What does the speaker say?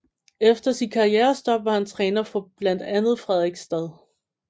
Efter sit karrierestop var han træner for blandt andet Fredrikstad